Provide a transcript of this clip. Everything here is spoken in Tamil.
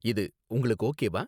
இது உங்களுக்கு ஓகேவா?